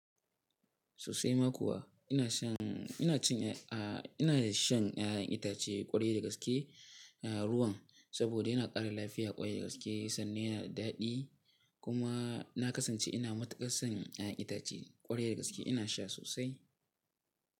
Sosai ma kuwa ina shan, ina cin ina shan ƴaƴan itace ƙwarai da gaske ruwan saboda yana ƙara lafiya ƙwarai da gaske sannan yana da daɗi kuma na kasance ina matuƙar son ƴaƴan itace ƙwarai da gaske ina sha sosai.